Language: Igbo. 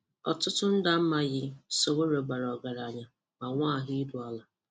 Ọtụtụ ndị amaghị, Sowore bara ọgaranya ma nwee ahụ iru ala.